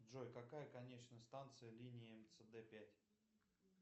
джой какая конечная станция линии мцд пять